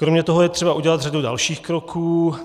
Kromě toho je třeba udělat řadu dalších kroků.